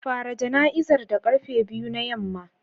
Fara jana'izar da karfe biyu na yamma.